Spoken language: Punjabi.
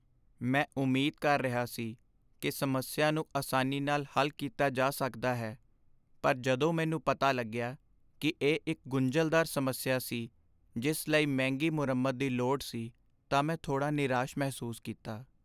ਮੈਂ ਉਮੀਦ ਕਰ ਰਿਹਾ ਸੀ ਕਿ ਸਮੱਸਿਆ ਨੂੰ ਆਸਾਨੀ ਨਾਲ ਹੱਲ ਕੀਤਾ ਜਾ ਸਕਦਾ ਹੈ, ਪਰ ਜਦੋਂ ਮੈਨੂੰ ਪਤਾ ਲੱਗਿਆ ਕਿ ਇਹ ਇੱਕ ਗੁੰਝਲਦਾਰ ਸਮੱਸਿਆ ਸੀ ਜਿਸ ਲਈ ਮਹਿੰਗੀ ਮੁਰੰਮਤ ਦੀ ਲੋੜ ਸੀ ਤਾਂ ਮੈਂ ਥੋੜ੍ਹਾ ਨਿਰਾਸ਼ ਮਹਿਸੂਸ ਕੀਤਾ।